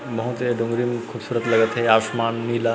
बहुत ही दोनो झन खूबसूरत लगत हे आसमान नीला--